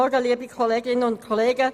Kommissionssprecherin der FiKo.